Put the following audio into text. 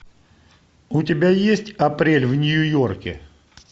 у тебя есть апрель в нью йорке